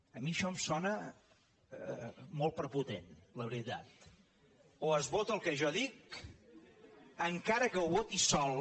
a mi això em sona molt prepotent la veritat o es vota el que jo dic encara que ho voti sol